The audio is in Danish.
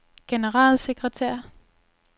generalsekretær